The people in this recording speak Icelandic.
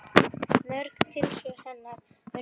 Mörg tilsvör hennar urðu fleyg.